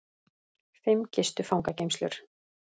Fimm gistu fangageymslur